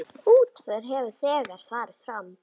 Útför hefur þegar farið fram.